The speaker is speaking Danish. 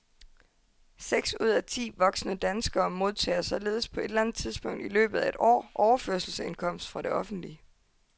Seks ud af ti voksne danskere modtager således på et eller andet tidspunkt i løbet af et år overførselsindkomst fra det offentlige.